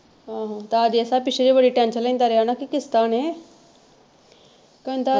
ਆਹੋ ਤਾਂ ਜੇਸਾ ਪਿਛਲੀ ਵਾਰੀ tension ਲੈਂਦਾ ਰਿਹਾ ਨਾ ਕਿ ਕਿਸ਼ਤਾਂ ਨੇ ਕਹਿੰਦਾ,